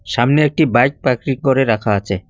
সামনে একটি bike parking করে রাখা আছে।